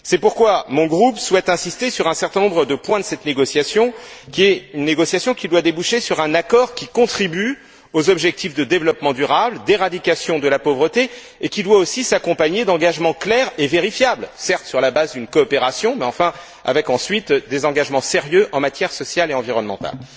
C'est pourquoi mon groupe souhaite insister sur un certain nombre de points de cette négociation, qui doit déboucher sur un accord qui contribue aux objectifs de développement durable, d'éradication de la pauvreté, et qui doit aussi s'accompagner d'engagements clairs et vérifiables, certes sur la base d'une coopération, mais avec ensuite des engagements sérieux en matière sociale et environnementale.